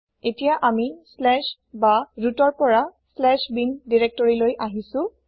এতিয়া অামি বা rootৰ পৰা bin দিৰেক্তৰিলৈ আহিছো